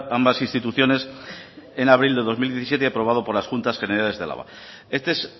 ambas instituciones en abril de dos mil diecisiete y aprobado por las juntas generales de álava este es